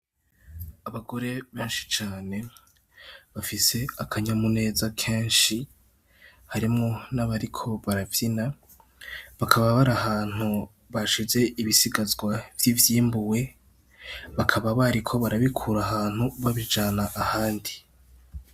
Abagore benshi cane bafise akanyamuneza kenshi harimwo n'abariko baravyina bakaba bari ahantu bashize ibisigazwa vy'ivyimbuwe bakaba bariko barabikura ahantu babijana ahandi.